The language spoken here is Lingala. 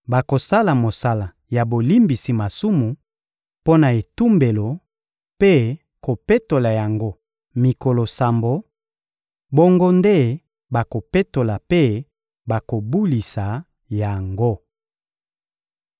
Bakosala mosala ya bolimbisi masumu mpo na etumbelo mpe kopetola yango mikolo sambo; bongo nde bakopetola mpe bakobulisa yango.